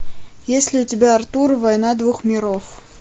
есть ли у тебя артур война двух миров